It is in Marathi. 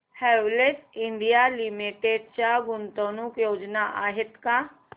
हॅवेल्स इंडिया लिमिटेड च्या गुंतवणूक योजना आहेत का